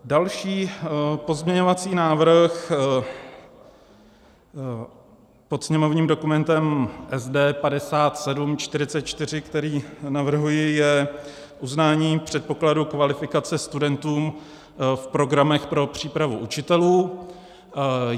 Další pozměňovací návrh pod sněmovním dokumentem SD 5744, který navrhuji, je uznání předpokladu kvalifikace studentům v programech pro přípravu učitelů.